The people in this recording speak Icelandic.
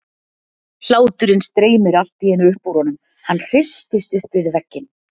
Hláturinn streymir allt í einu upp úr honum, hann hristist upp við vegginn.